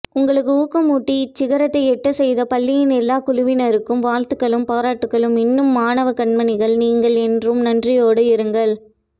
உங்களுக்கு ஊக்கமூட்டி இந்தச்சிகரத்தை எட்டச்செய்த பள்ளியின் எல்லா குழுவினருக்கும் வாழ்த்துக்களும் பாராட்டுக்களும் இன்னும் மாணவக்கண்மணிகள் நீங்கள் என்றும் நன்றியோடு இருங்கள்